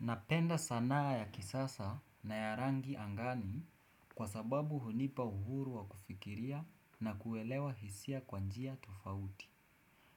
Napenda sanaa ya kisasa na ya rangi angani kwa sababu hunipa uhuru wa kufikiria na kuelewa hisia kwa njia tufauti.